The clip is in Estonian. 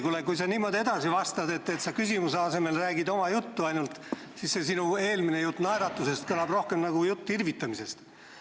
Kuule, kui sa niimoodi edasi vastad, et sa küsimusele vastamise asemel räägid ainult oma juttu, siis see sinu äsjane jutt naeratusest tundub rohkem nagu jutt irvitamisest.